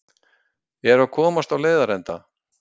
Eru að komast á leiðarenda